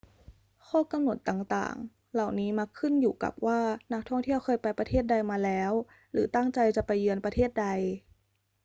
ข้อกำหนดต่าง ๆ เหล่านี้มักขึ้นอยู่กับว่านักท่องเที่ยวเคยไปประเทศใดมาแล้วหรือตั้งใจจะไปเยือนประเทศใด